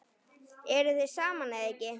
Eruð þið saman eða ekki?